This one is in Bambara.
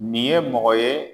Nin ye mɔgɔ ye